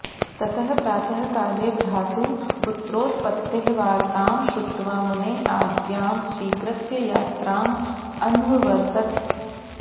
ततः प्रातःकाले भ्रातुः पुत्रोत्पत्तेः वार्तां श्रुत्वा मुनेः आज्ञां स्वीकृत्य यात्राम् अन्ववर्तत